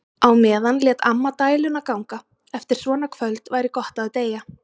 Á meðan lét amma dæluna ganga: Eftir svona kvöld væri gott að deyja.